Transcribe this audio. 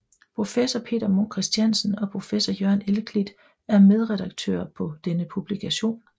Professor Peter Munk Christiansen og professor Jørgen Elklit er medredaktører på denne publikation